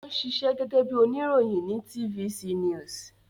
Ó ń ṣiṣẹ́ gẹ́gẹ́ bí oníròyìn ní TVC news